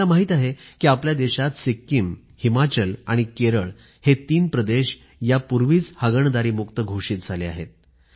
आपल्याला माहित आहे कि आपल्या देशात सिक्कीम हिमाचल आणि केरळ हे तीन प्रदेश यापूर्वीच हागणदारीमुक्त घोषित झाले आहेत